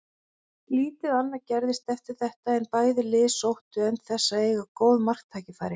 Lítið annað gerðist eftir þetta en bæði lið sóttu en þess að eiga góð marktækifæri.